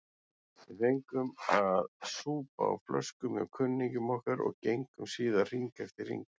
Við fengum að súpa á flöskum hjá kunningjum okkar og gengum síðan hring eftir hring.